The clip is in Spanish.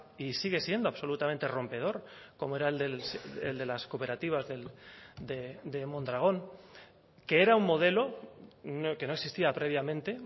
y sigue siendo absolutamente rompedor como era el de las cooperativas de mondragón que era un modelo que no existía previamente